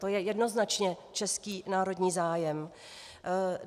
To je jednoznačně český národní zájem.